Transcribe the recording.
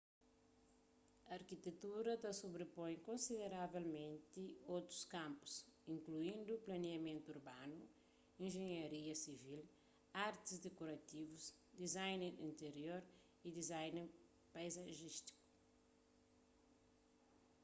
arkitektura ta sobripoi konsideravelmenti otus kanpus inkluindu planiamentu urbanu injenharia sivil artis dikorativus design interior y design paizajístiku